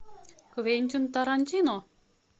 квентин тарантино